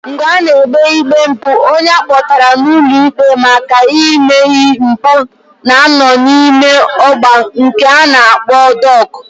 Mgbe a na-ekpe ikpe mpu, onye akpotara ulo ikpe maka ime mpu na-ano n'ime ogba nke a na-akpo dok.